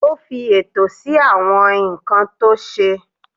Ó fi ètò sí àwọn nǹkan tó ṣe.